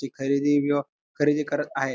ती खरेदी किंवा खरेदी करत आहेत.